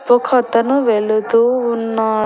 ఒకతను వెళుతూ ఉన్నా--